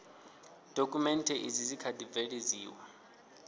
dokhumenthe izi dzi kha ḓi bveledziwa